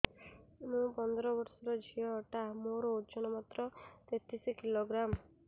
ମୁ ପନ୍ଦର ବର୍ଷ ର ଝିଅ ଟା ମୋର ଓଜନ ମାତ୍ର ତେତିଶ କିଲୋଗ୍ରାମ